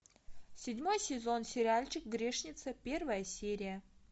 седьмой сезон сериальчик грешница первая серия